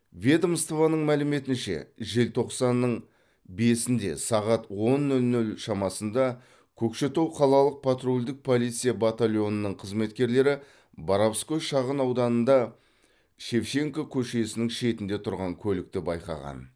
ведомствоның мәліметінше желтоқсанның бесінде сағат он нөл нөл шамасында көкшетау қалалық патрульдік полиция батольонының қызметкерлері боровской шағын ауданында шевченко көшесінің шетінде тұрған көлікті байқаған